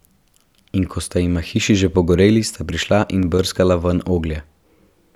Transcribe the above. In ko sta jima hiši že pogoreli, sta prišla in brskala ven oglje.